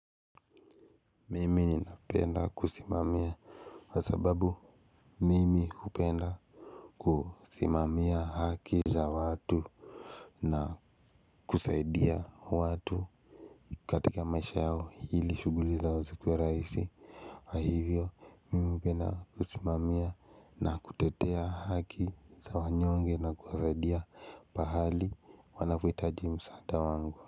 Mimi ninapenda kusimamia. Kwasababu mimi hupenda kusimamia haki za watu. Na, kusaidia watu. Katika maisha yao hili shughuli zao zikuwe rahisi. Na hivyo, mimi hupenda kusimamia na kutetea haki za wanyonge na kuwasaidia pahali wanapohitaji msaada wangu.